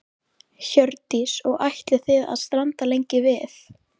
Hjördís: Og ætlið þið að staldra lengi við?